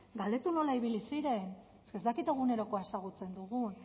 galdetu nola ibili ziren es que ez dakit egunerokoa ezagutzen dugun